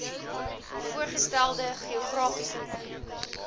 voorgestelde geografiese gebiede